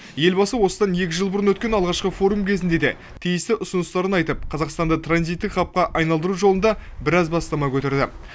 елбасы осыдан екі жыл бұрын өткен алғашқы форум кезінде де тиісті ұсыныстарын айтып қазақстанды транзиттік хабқа айналдыру жолында біраз бастама көтерді